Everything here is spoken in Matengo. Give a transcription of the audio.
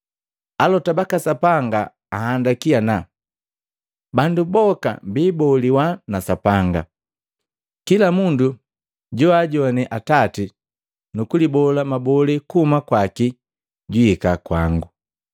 Alota baka Sapanga ahandiki ana, ‘Bandu boka biboliwa na Sapanga.’ Kila mundu joajone Atati nukulibola mabolee kuhuma kwaki juhika kwango.